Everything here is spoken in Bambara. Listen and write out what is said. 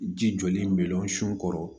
Ji jɔlen bɛlɔnsun kɔrɔ